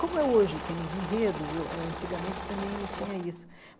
Como é hoje, tem os enredos, eh ãh antigamente também tinha isso.